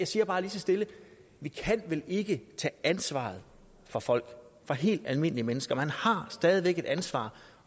siger bare lige så stille vi kan vel ikke tage ansvaret for folk for helt almindelige mennesker man har stadig væk et ansvar